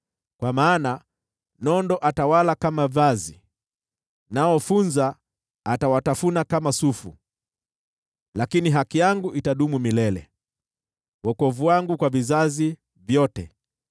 Kwa maana nondo atawala kama vazi, nao funza atawatafuna kama sufu. Lakini haki yangu itadumu milele, wokovu wangu kwa vizazi vyote.”